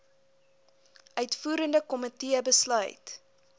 uitvoerende komitee besluit